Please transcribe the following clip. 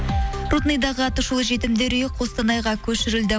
рудныйдағы аты шулы жетімдер үйі қостанайға көшірілді